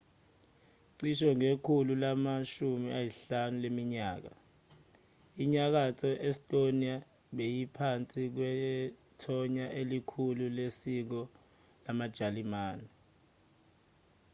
cishe ngekhulu lama-15 leminyaka inyakatho estonia beyingaphansi kwethonya elikhulu lesiko lasejalimane